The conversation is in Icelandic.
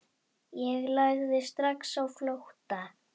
Ég lagði strax á flótta.